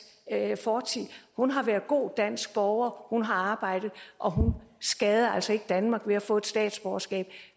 fortid hun har været en god dansk borger hun har arbejdet og hun skader altså ikke danmark ved at hun får et statsborgerskab og